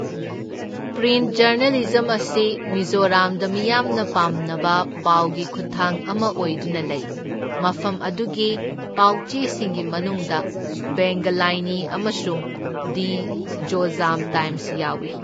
Print journalism ꯑꯁꯤ ꯃꯤꯖꯣꯔꯥꯝꯗ ꯃꯤꯌꯥꯝꯅ ꯄꯥꯝꯅꯕ ꯄꯥꯎꯒꯤ ꯈꯨꯠꯊꯥꯡ ꯑꯃ ꯑꯣꯏꯗꯨꯅ ꯂꯩ, ꯃꯐꯝ ꯑꯗꯨꯒꯤ ꯄꯥꯎ ꯆꯦꯁꯤꯡꯒꯤ ꯃꯅꯨꯡꯗ ꯚꯦꯡꯒꯂꯥꯏꯅꯤ ꯑꯃꯁꯨꯡ ꯗꯤ ꯖꯣꯖꯥꯝ ꯇꯥꯏꯝꯁ ꯌꯥꯎꯢ꯫